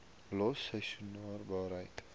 los seisoensarbeid